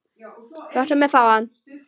Láttu mig fá hann.